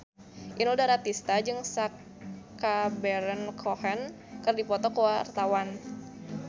Inul Daratista jeung Sacha Baron Cohen keur dipoto ku wartawan